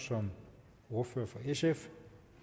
som ordfører for sf